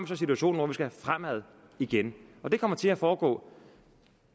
så situationen hvor vi skal fremad igen og det kommer til at foregå